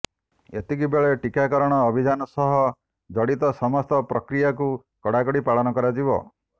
ଏତିକିବେଳେ ଟିକାକରଣ ଅଭିଯାନ ସହ ଜଡିତ ସମସ୍ତ ପ୍ରକ୍ରିୟାକୁ କଡ଼ାକଡ଼ି ପାଳନ କରାଯିବ